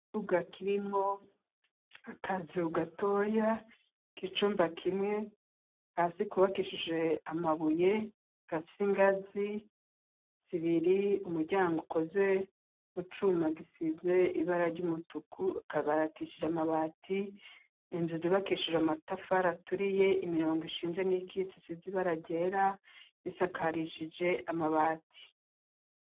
Ikibuga kirimwo akazu gatoya k'icumba kimwe hasi kubakishije amabuye gafise ingazi zibiri umuryango ukozwe mu cuma gisizwe ibara ry'umutuku akabati kubakishije amabati inzu zubakishije amatafari aturiye imirongo ishinze n'iyikitse isize ibara ryera isakarishije amabati.